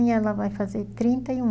e ela vai fazer trinta e um